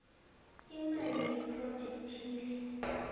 imali yephrojekhthi le